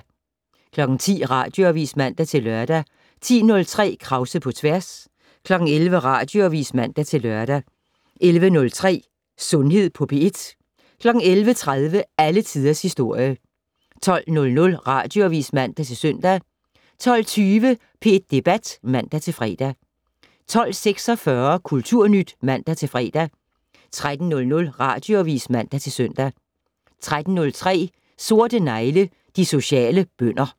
10:00: Radioavis (man-lør) 10:03: Krause på tværs 11:00: Radioavis (man-lør) 11:03: Sundhed på P1 11:30: Alle Tiders Historie 12:00: Radioavis (man-søn) 12:20: P1 Debat (man-fre) 12:46: Kulturnyt (man-fre) 13:00: Radioavis (man-søn) 13:03: Sorte negle: De sociale bønder